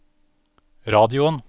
radioen